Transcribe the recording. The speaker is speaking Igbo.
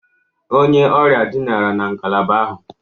Onye ọrịa dinara na ngalaba ahụ.